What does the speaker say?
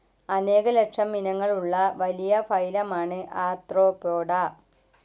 അനേക ലക്ഷം ഇനങ്ങളുള്ള വലിയ ഫൈലമാണ് ആർത്രോപോഡ.